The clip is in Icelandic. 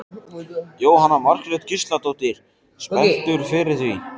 Jóhanna Margrét Gísladóttir: Spenntur fyrir því?